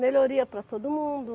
melhoria para todo mundo.